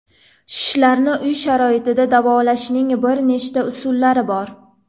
Shishlarni uy sharoitida davolashning bir nechta usullari bor.